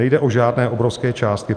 Nejde o žádné obrovské částky.